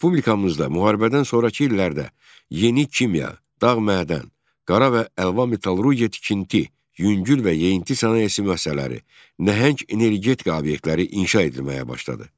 Respublikamızda müharibədən sonrakı illərdə yeni kimya, dağ-mədən, qara və əlvan metallurgiya tikinti, yüngül və yeyinti sənayesi müəssisələri, nəhəng energetika obyektləri inşa edilməyə başladı.